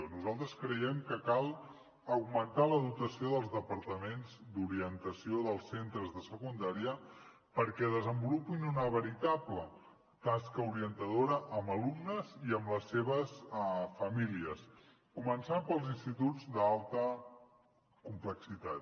nosaltres creiem que cal augmentar la dotació dels departaments d’orientació dels centres de secundària perquè desenvolupin una veritable tasca orientadora amb alumnes i amb les seves famílies començant pels instituts d’alta complexitat